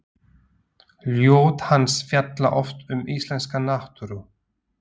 Ljóð hans fjalla oft um íslenska náttúru.